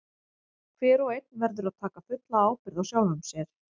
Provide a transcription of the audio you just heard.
Hver og einn verður að taka fulla ábyrgð á sjálfum sér.